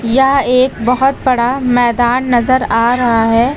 यह एक बहोत बड़ा मैदान नजर आ रहा है।